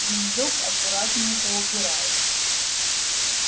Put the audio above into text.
вещдок аккуратненько убираю